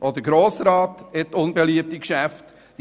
Auch der Grosse Rat hat unbeliebte Geschäfte.